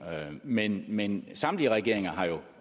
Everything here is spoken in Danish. men men samtlige regeringer har jo